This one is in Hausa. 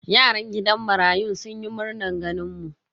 Yaran gidan marayun sun yi murnan ganin mu.